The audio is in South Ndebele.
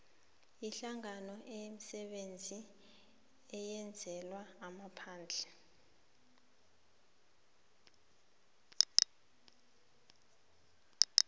yeenhlanganoimisebenzi eyenzelwa amaphandle